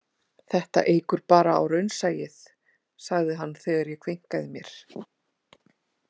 Þetta eykur bara á raunsæið, sagði hann þegar ég kveinkaði mér.